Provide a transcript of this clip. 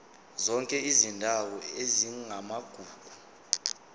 zonke izindawo ezingamagugu